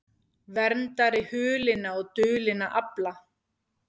Verndari hulinna og dulinna afla